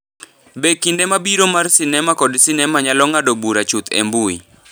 Be kinde mabiro mar sinema kod sinema nyalo ng’ado bura chuth e mbui?